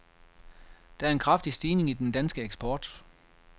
Der er en kraftig stigning i den danske eksport.